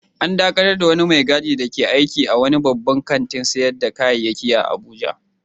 An dakatar da wani mai gadi dake aiki a wani babban kantin sayar da kayayyaki a Abuja